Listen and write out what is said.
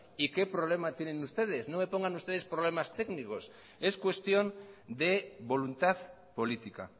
y qué problema tienen ustedes no me pongan ustedes problemas técnicos es cuestión de voluntad política